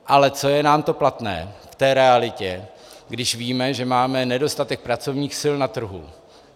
Ale co je nám to platné v té realitě, když víme, že máme nedostatek pracovních sil na trhu?